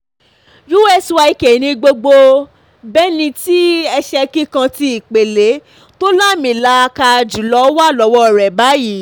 usyk ni um gbogbo bẹ́nìítì ẹsẹ kíkàn tí ìpele um tó láàmì-làaka jùlọ wà lọ́wọ́ rẹ̀ báyìí